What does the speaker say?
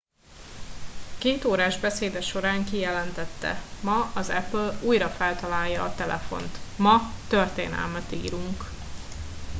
kétórás beszéde során kijelentette ma az apple újra feltalálja a telefont ma történelmet írunk